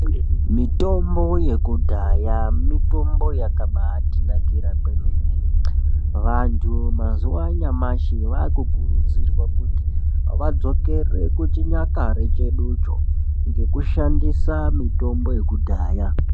Mitombo yekudhaya, mitombo yakabatinakira kwemene. Vantu mazivanuamashe vakukurudzirwa kuti vadzokere kuchinyakare chedu cho ngekushandisa mitombo yekudaya.